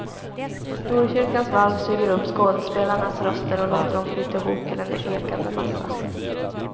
Storkyrkans valv suger upp skådespelarnas röster och låter dem flyta ihop till en ekande massa.